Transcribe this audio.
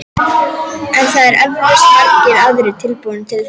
En það eru eflaust margir aðrir tilbúnir til þess.